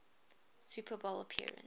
super bowl appearance